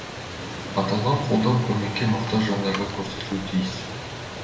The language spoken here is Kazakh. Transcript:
аталған қолдау көмекке мұқтаж жандарға көрсетілуі тиіс